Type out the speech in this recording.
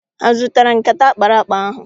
Ha zụtara nkata akparakpa ahụ?